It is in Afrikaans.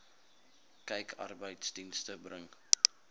kyk arbeidsdienste bring